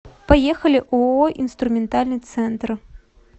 поехали ооо инструментальный центр